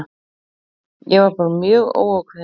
Ég var bara mjög óákveðinn.